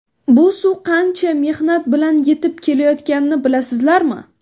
Bu suv qancha mehnat bilan yetib kelayotganini bilasizlarmi?